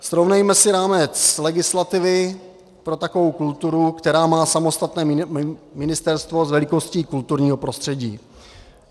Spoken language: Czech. Srovnejme si rámec legislativy pro takovou kulturu, která má samostatné ministerstvo s velikostí kulturního prostředí.